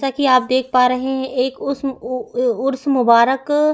ताकि आप देख पा रहै है एक उस्म उ उर्स मुबारक --